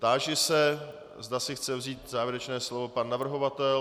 Táži se, zda si chce vzít závěrečné slovo pan navrhovatel.